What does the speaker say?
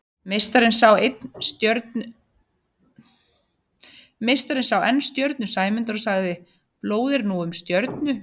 Meistarinn sá enn stjörnu Sæmundar og sagði: Blóð er nú um stjörnu